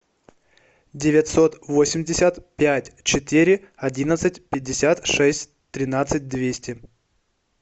девятьсот восемьдесят пять четыре одиннадцать пятьдесят шесть тринадцать двести